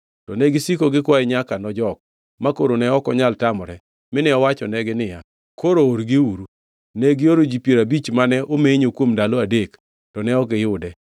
To negisiko gikwaye nyaka nojok, makoro ne ok onyal tamore, mine owachonegi niya, “Koro orgiuru.” Negioro ji piero abich mane omenyo kuom ndalo adek, to ne ok giyude.